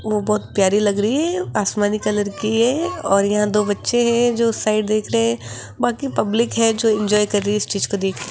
वो बहोत प्यारी लग रही है आसमानी कलर की है और यहां दो बच्चे हैं जो साइड देख रहे बाकी पब्लिक है जो इंजॉय कर रही है इस चीज को देख --